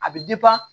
A bɛ